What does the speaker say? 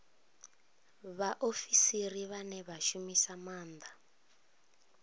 vhaofisiri vhane vha shumisa maanda